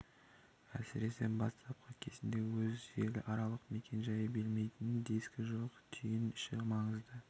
әсіресе бастапқы кезінде өз желіаралық мекен-жайы білмейтін дискі жоқ түйін үшін маңызды